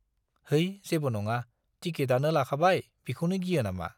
है जेबो नङा, टिकिटआनो लाखाबाय, बिखौनो गियो नामा?